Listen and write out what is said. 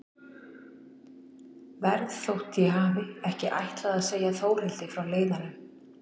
Verð þótt ég hafi ekki ætlað að segja Þórhildi frá leiðanum.